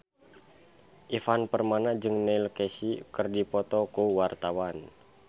Ivan Permana jeung Neil Casey keur dipoto ku wartawan